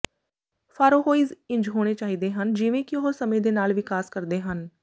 ਫਾਰੋਹੌਇਜ਼ ਇੰਝ ਹੋਣੇ ਚਾਹੀਦੇ ਹਨ ਜਿਵੇਂ ਕਿ ਉਹ ਸਮੇਂ ਦੇ ਨਾਲ ਵਿਕਾਸ ਕਰਦੇ ਹਨ